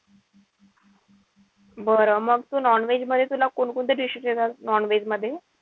बरं मग तू non-veg मध्ये तुला कोणकोणते dishes येतात non-veg मध्ये?